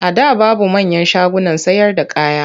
A da babu manyan shagunan sayarda kaya.